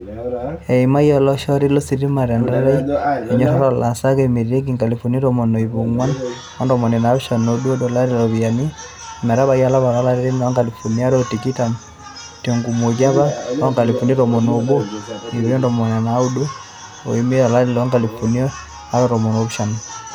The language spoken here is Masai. Eimayia olaishoroni lositima tentaani e ndoyoroto oolaasak ometabaiki inkalifuni tomon o iip onguan ontomoni naapishan oo udo tolari loropyiani ometabaki olapa le ile lolari loonkalifuni are o tikitam, tenkumoki apa oonkalifuni tomon o obo o iip are o ntomoni naudo o imiet to lari loonkalifuni are o tomon onaapishana.